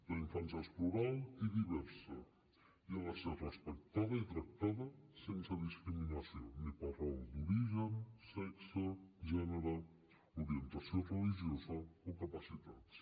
la infància és plural i diversa i ha de ser respectada i tractada sense discriminació ni per raó d’origen sexe gènere orientació religiosa o capacitats